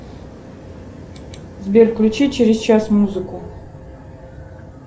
сбер включи через час музыку